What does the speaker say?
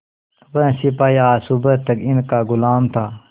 वह सिपाही आज सुबह तक इनका गुलाम था